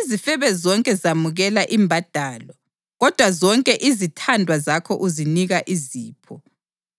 Izifebe zonke zamukela imbadalo, kodwa zonke izithandwa zakho uzinika izipho,